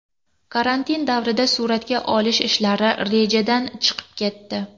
Karantin davrida suratga olish ishlari rejadan chiqib ketdi.